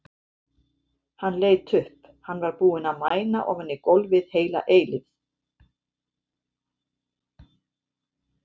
Hann leit upp, hann var búinn að mæna ofan í gólfið heila eilífð.